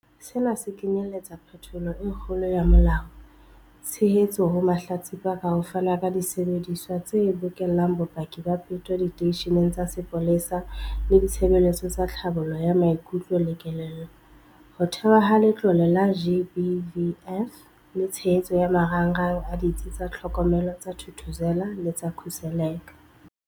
Sena se kenyeletsa phetholo e kgolo ya molao, tshehetso ho mahlatsipa ka ho fana ka disebediswa tse bokellang bopaki ba peto diteisheneng tsa sepolesa le ditshebeletso tsa tlhabollo ya maikutlo le kelello, ho thehwa ha Letlole la GBVF le tshehetso ya marangrang a Ditsi tsa Tlhokomelo tsa Thuthuzela le tsa Khuseleka.